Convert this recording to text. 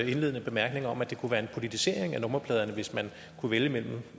indledende bemærkning om at det kunne være en politisering af nummerpladerne hvis man kunne vælge mellem